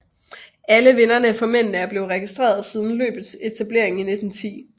Alle vinderne for mændene er blevet registreret siden løbets etablering i 1910